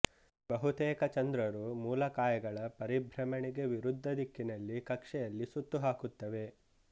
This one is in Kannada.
ಬಹುತೇಕ ಚಂದ್ರರು ಮೂಲಕಾಯಗಳ ಪರಿಭ್ರಮಣೆಗೆ ವಿರುದ್ಧ ದಿಕ್ಕಿನಲ್ಲಿ ಕಕ್ಷೆಯಲ್ಲಿ ಸುತ್ತುಹಾಕುತ್ತವೆ